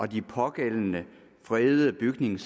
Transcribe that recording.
de pågældende fredede bygninger